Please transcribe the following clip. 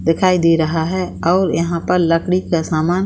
दिखाई दे रहा है और यहाँ पर लकड़ी का सामान --